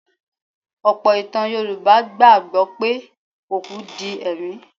Ọ̀pọ̀ ìtàn Yorùbá gbà gbọ́ pé òkú di ẹ̀mí.